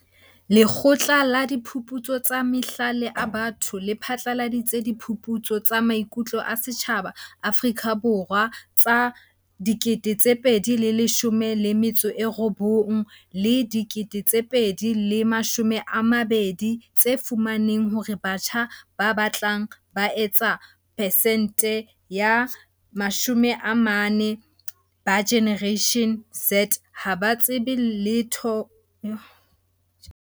Lekgotla la Diphuputso tsa Mahlale a Batho le phatlaladitse Diphuputso tsa Maiku tlo a Setjhaba Afrika Borwa tsa 2019 - 2020 tse fumaneng hore batjha ba batlang ba etsa percent-e ya mashome a mane ba Generation Z ha ba tsebe letho ka diketsahalo tsa la 16 Phupjane.